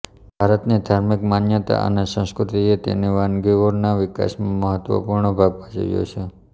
ભારતની ધાર્મિક માન્યતા અને સંસ્કૃતિએ તેની વાનગીઓના વિકાસમાં મહત્ત્વપૂર્ણ ભાગ ભજવ્યો છે